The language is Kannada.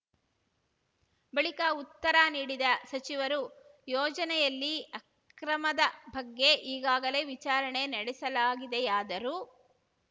ಬಳಿಕ ಉತ್ತರ ನೀಡಿದ ಸಚಿವರು ಯೋಜನೆಯಲ್ಲಿ ಅಕ್ರಮದ ಬಗ್ಗೆ ಈಗಾಗಲೇ ವಿಚಾರಣೆ ನಡೆಸಲಾಗಿದೆಯಾದರೂ